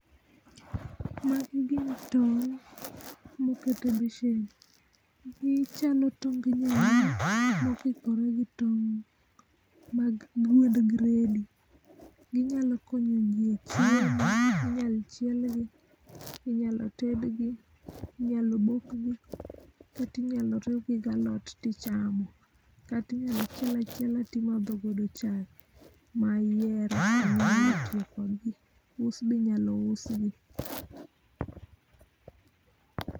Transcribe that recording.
Magi gin tong mokete besen. Gichalo tong nyaluo mokikore gi tong mag gwend gredi. Ginyalo konyo ji e chiemo Inyalo chiel gi, inyalo ted gi, inyalo bok gi kata inyalo riu gi gi alot tichamo, kata inyalo chiel achiel to imadho godo chai ma ihero us be inyalo us gi.